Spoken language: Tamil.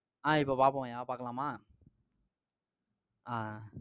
அஹ் இப்ப பாப்போம்ய்யா பாக்கலாமா? அஹ்